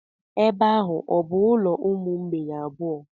Ebe ahụ ọ bụ ụlọ umu mgbei abụọ.